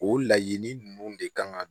O laɲini ninnu de kan ka